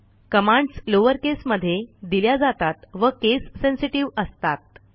commands lowercase मधे दिल्या जातात व केस सेन्सेटिव्ह असतात